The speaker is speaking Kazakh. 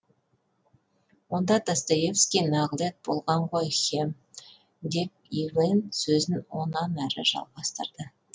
онда достоевский нағылет болған ғой хем деп ивен сөзін онан әрі жалғастырды